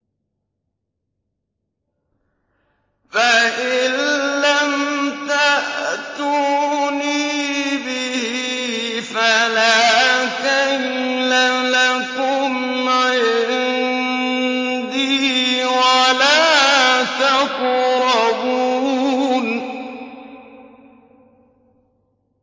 فَإِن لَّمْ تَأْتُونِي بِهِ فَلَا كَيْلَ لَكُمْ عِندِي وَلَا تَقْرَبُونِ